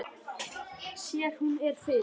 Sér að hún er fyrir.